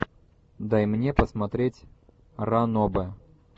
дай мне посмотреть ранобэ